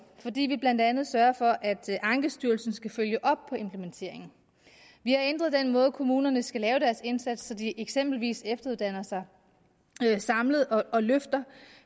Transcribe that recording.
fordi vi blandt andet sørger for at ankestyrelsen skal følge op på implementeringen vi ændrer den måde kommunerne skal lave deres indsats på så de eksempelvis efteruddanner sig samlet og løfter